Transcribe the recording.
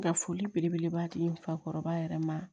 Ka foli belebeleba di n fakɔrɔba yɛrɛ ma